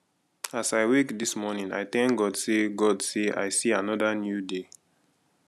as i wake this morning i thank god say god say i see another new day